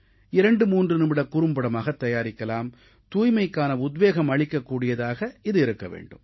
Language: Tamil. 23 நிமிடக் குறும்படமாகத் தயாரிக்கலாம் தூய்மைக்கான உத்வேகம் அளிக்க கூடியதாக இது இருக்க வேண்டும்